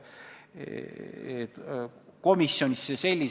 Vahel võib juhtuda, et sa tahad paremat, aga välja tuleb nii nagu tavaliselt.